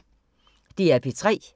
DR P3